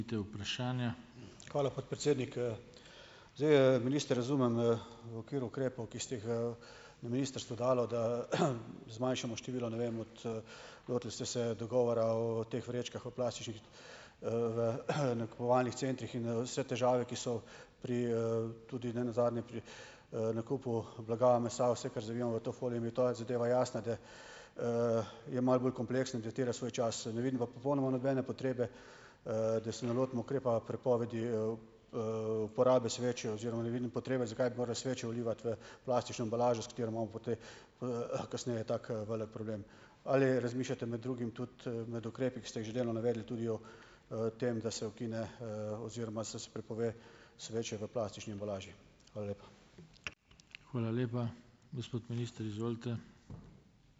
Hvala, podpredsednik, Zdaj, minister, razumem, v okviru ukrepov, ki ste jih, na ministrstvu dali, da zmanjšamo število, ne vem, od, lotili ste se dogovora o teh vrečkah o plastičnih, v nakupovalnih centrih in, vse težave, ki so pri, tudi ne nazadnje pri, nakupu blaga, mesa, vse, kar zavijemo v to folijo, jim je ta zadeva jasna, da, je malo bolj kompleksen, da terja svoj čas. Ne vidim pa popolnoma nobene potrebe, da se ne lotimo ukrepa prepovedi, uporabe sveče oziroma ne vidim potrebe, zakaj bi moral sveče vlivati v plastično embalažo, s katero imamo kasneje tako, velik problem. Ali razmišljate med drugim tudi, med ukrepi, ki ste jih že delno navedli, tudi o, tem, da se ukine, oziroma se prepove sveče v plastični embalaži? Hvala lepa.